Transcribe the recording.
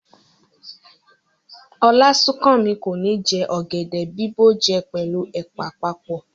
Olasunkanmi ko ni jẹ ọ̀gẹ̀dẹ̀ bìbó jẹ pẹlu ẹ̀pà papọ.